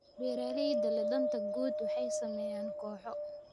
Beeraleyda leh danta guud waxay sameeyaan kooxo.